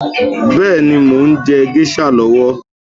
Bẹ́ẹ̀ni, mo ń jẹ géṣà lọ́wọ́